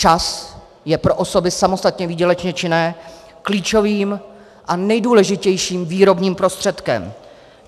Čas je pro osoby samostatně výdělečně činné klíčovým a nejdůležitějším výrobním prostředkem.